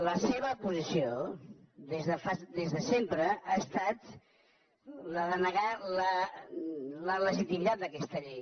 la seva posició des de sempre ha estat la de negar la legitimitat d’aquesta llei